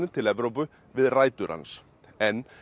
til Evrópu við rætur hans en